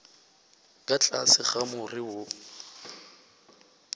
ka tlase ga more wo